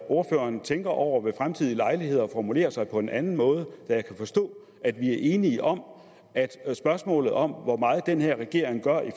ordføreren tænker over ved fremtidige lejligheder at formulere sig på en anden måde da jeg kan forstå at vi er enige om at spørgsmålet om hvor meget den her regering gør i